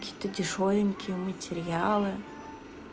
какие-то дешёвенькие материалы